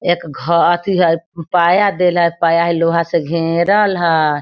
एक घ अथी हय पाया देल है पाया है लोहा से घरेल है।